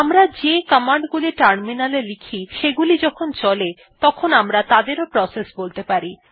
আমরা যে কমান্ড গুলি টার্মিনালে লিখি সেগুলি যখন চলে তখন আমরা তাদেরও প্রসেস বলতে পারি